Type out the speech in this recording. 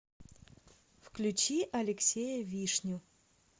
включи алексея вишню